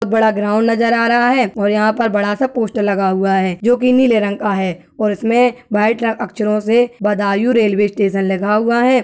बड़ा ग्राउंड नज़र आ रहा है और यहाँ पर बड़ा सा पोस्टर लगा हुआ है जो की नीले रंग का है और इसमें वाइट अक्षरों से बदायूँ रेलवे स्टेशन लिखा हुआ है।